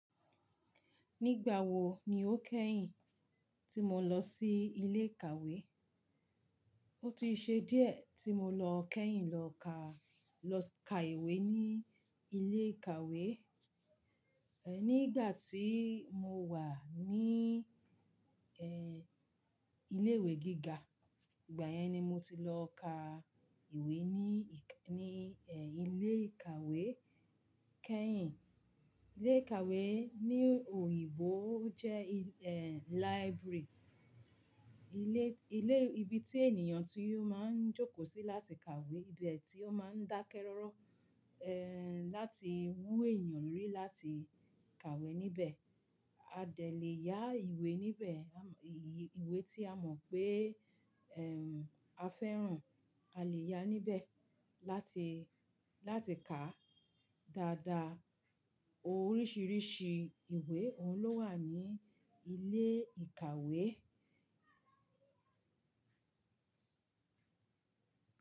Nígbà wo ni o kẹ́yìn tí mo lọ sí ilé ìkàwé. O ti ṣe díẹ̀ tí mo lọ kẹ́yìn lọ ka, lọ ka ìwé ní ilé ìkàwé. Nígbà tí mo wà ní ilé ìwé gíga, ìgbà yẹn ni mo ti lọ ka ìwé ní, ní ilé ìkàwé kẹ́yìn. Ilé ìkàwé ní òyìnbó jẹ́ library. Ilé, ilé ibi tí ènìyàn ti ó máa ń jókòó sí láti kàwé. Ibi ẹ tí ó máa ń dákẹ́ rọ́rọ́ láti wú èèyàn lórí láti kàwé níbẹ̀. A dè le ya ìwé níbẹ̀ ìwé tí a mọ̀ pé a fẹ́ràn a lè ya níbẹ̀ láti, láti kà. Dada oríṣiríṣi ìwé òun ló wà ní ilé ìkàwé.